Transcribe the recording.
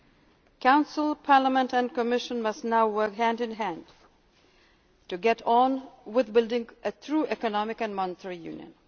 decisions. The Council, Parliament and the Commission must now work hand in hand to get on with building a true economic and monetary